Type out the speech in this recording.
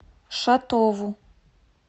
шатову